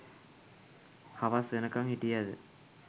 හවස් වෙනකං හිටියද